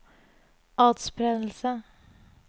atspredelse